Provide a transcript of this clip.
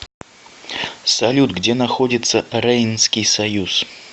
салют где находится рейнский союз